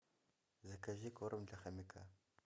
закажи корм для хомяка